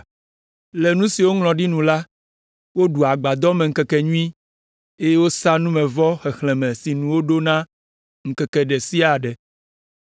Le nu si woŋlɔ ɖi nu la, woɖu agbadɔmeŋkekenyui, eye wosa numevɔ xexlẽme sinu woɖo na ŋkeke ɖe sia ɖe.